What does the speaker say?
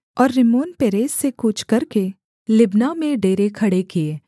और रिम्मोनपेरेस से कूच करके लिब्ना में डेरे खड़े किए